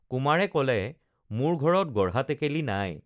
কুমাৰে কলে মোৰ ঘৰত গঢ়া টেকেলি নাই